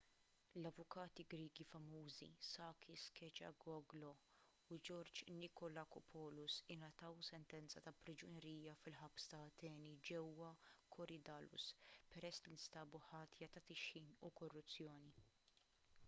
l-avukati griegi famużi sakis kechagioglou u george nikolakopoulos ingħataw sentenza ta' priġunerija fil-ħabs ta' ateni ġewwa korydallus peress li nstabu ħatja ta' tixħim u korruzzjoni